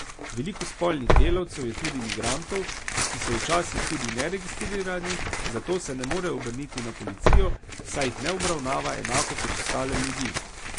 Veliko spolnih delavcev je tudi migrantov, ki so včasih tudi neregistrirani, zato se ne morejo obrniti na policijo, saj jih ne obravnava enako kot ostale ljudi.